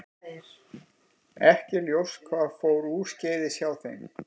Ekki er ljóst hvað fór úrskeiðis hjá þeim.